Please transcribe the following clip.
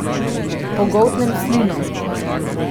Pogoltnem slino.